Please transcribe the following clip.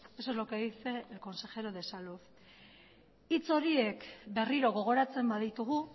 eso es lo que dice el consejero de salud hitz horiek berriro gogoratzen baditugu